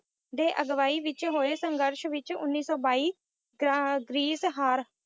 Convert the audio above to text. ਦੇ ਅਗਵਾਈ ਵਿੱਚ ਹੋਏ ਸੰਘਰਸ਼ ਵਿੱਚ ਉੱਨੀ ਸੌ ਬਾਈ ਅਹ ਗਰੀਸ ਹਾਰ